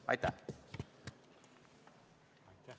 Aitäh!